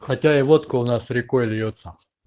хотя и водка у нас рекой льётся